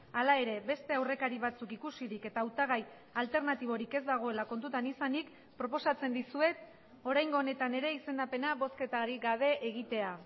hala ere beste aurrekari batzuk ikusirik eta hautagai alternatiborik ez dagoela kontutan izanik proposatzen dizuet oraingo honetan ere izendapena bozketarik gabe egitea